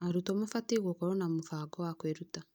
Arutwo mabatiĩ gũkorwo na mũbango wa kwĩruta.